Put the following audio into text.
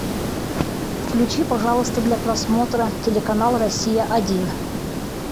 включи пожалуйста для просмотра телеканал россия один